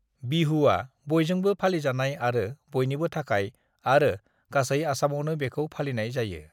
बिहुआ बयजोंबो फालिजानाय आरो बयनिबो थाखाय आरो गासै आसामआवनो बेखौ फालिनाय जायो।